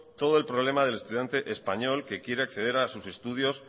todo el problema del estudiante español que quiera acceder a sus estudios